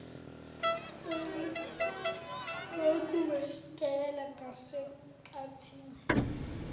beyilokhu besondelela ngasenkathini